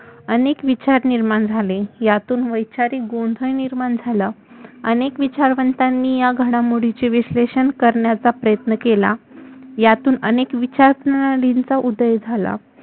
अनेक विचार निर्माण झाले यातुन वैचारिक गोंधळ निर्माण झाला अनेक विचारवंतानी या घडामोडीचे विश्लेषण करण्याचा प्रयत्न केला यातुन अनेक विचारप्रणालीचा उदय झाला